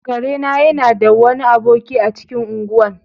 Kare na yana da wani aboki a cikin ungwan.